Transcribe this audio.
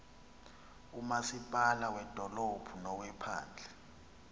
umasipala wedolophu nowephandle